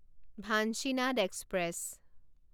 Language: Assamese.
ভাঞ্চিনাদ এক্সপ্ৰেছ